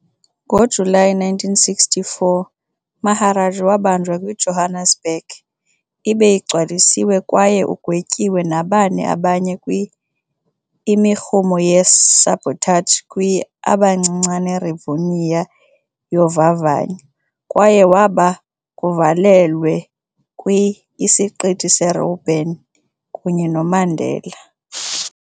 ngojulayi 1964, Maharaj wabanjwa kwi-Johannesburg, ibe igcwalisiwe kwaye ugwetyiwe nabane abanye kwi imirhumo ye sabotage kwi - abancinane Rivonia yovavanyo, kwaye waba kuvalelwe kwi - isiqithi se robben kunye Mandela.